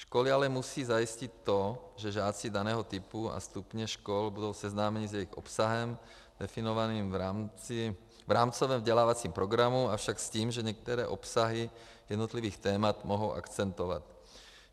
Školy ale musí zajistit to, že žáci daného typu a stupně škol budou seznámeni s jejich obsahem definovaným v rámcovém vzdělávacím programu, avšak s tím, že některé obsahy jednotlivých témat mohou akcentovat.